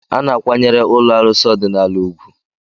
A na-akwanyere ụlọ arụsị ọdịnala ugwu.